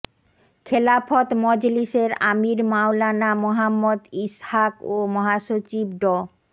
খেলাফত মজলিসের আমির মাওলানা মোহাম্মদ ইসহাক ও মহাসচিব ড